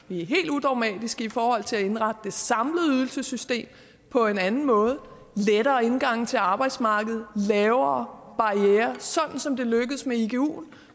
vi er helt udogmatiske i forhold til at indrette det samlede ydelsessystem på en anden måde med lettere indgange til arbejdsmarkedet lavere barrierer sådan som det lykkedes med iguen